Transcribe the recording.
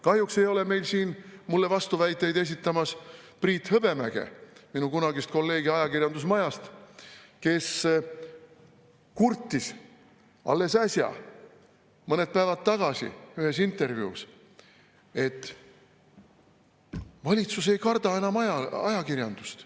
Kahjuks ei ole meil siin mulle vastuväiteid esitamas Priit Hõbemäge, minu kunagist kolleegi ajakirjandusmajast, kes kurtis alles äsja, mõned päevad tagasi ühes intervjuus, et valitsus ei karda enam ajakirjandust.